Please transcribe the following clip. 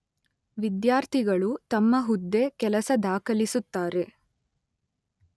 ವಿದ್ಯಾರ್ಥಿಗಳು ತಮ್ಮ ಹುದ್ದೆ, ಕೆಲಸ ದಾಖಲಿಸುತ್ತಾರೆ